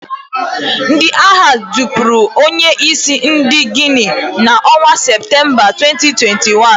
Ndị agha jupuru onye isi ndị Guinea n'onwa September 2021.